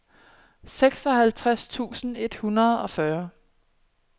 seksoghalvtreds tusind et hundrede og fyrre